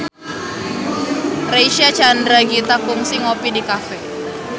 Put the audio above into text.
Reysa Chandragitta kungsi ngopi di cafe